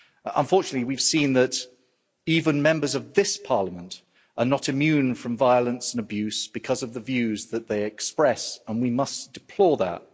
Unfortunately, we've seen that even Members of this Parliament are not immune from violence and abuse because of the views that they express, and we must deplore that.